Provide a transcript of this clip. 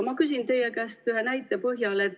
Ma küsin teie käest ühe näite põhjal.